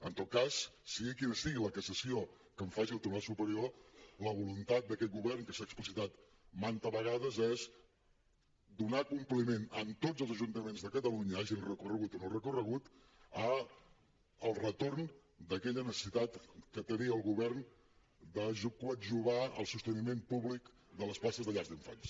en tot cas sigui quina sigui la cassació que en faci el tribunal superior la voluntat d’aquest govern que s’ha explicitat manta vegades és donar compliment en tots els ajuntaments de catalunya hagin recorregut o no hagin recorregut al retorn d’aquella necessitat que tenia el govern de coadjuvar el sosteniment públic de les places de llars d’infants